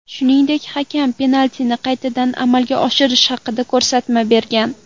Shuningdek, hakam penaltini qaytadan amalga oshirish haqida ko‘rsatma bergan.